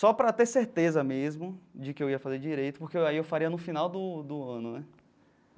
só para ter certeza mesmo de que eu ia fazer direito, porque aí eu faria no final do do ano né.